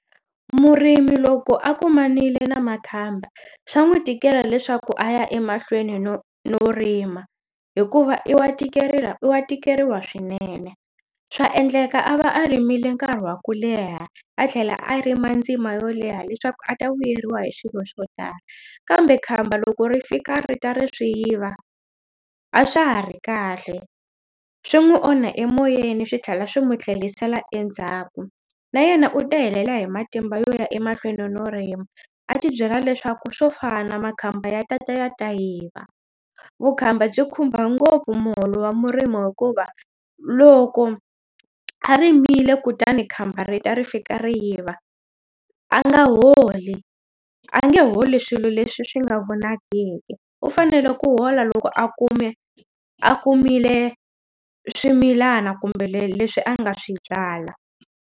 Murimi loko a kumanile na makhamba swa n'wi tikela leswaku a ya emahlweni no no rima hikuva i wa tikerila i wa tikeriwa swinene swa endleka a va a rimile nkarhi wa ku leha a tlhela a rima a ndzima yo leha leswaku a ta vuyeliwa hi swilo swo tala kambe khamba loko ri fika ri ta ri swi yiva a swa ha ri kahle swi n'wi onha emoyeni swi tlhela swi n'wi tlhelisela endzhaku na yena u ta helela hi matimba yo ya emahlweni no rima a ti byela leswaku swo fana makhamba ya ta ta ya ta yiva vukhamba byi khumba ngopfu muholo wa murimi hikuva loko a rimile kutani khamba rita ri fika ri yiva a nga holi a nge holi swilo leswi swi nga vonakiki u fanele ku hola loko a kume a kumile swimilana kumbe le leswi a nga swi byala.